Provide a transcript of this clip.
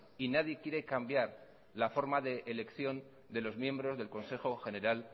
y nadie quiere cambiar la forma de elección de los miembros del consejo general